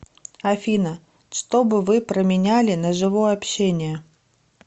афина что бы вы променяли на живое общение